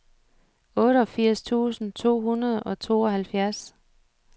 otteogfirs tusind to hundrede og tooghalvfjerds